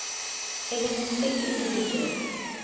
hellenistic individuals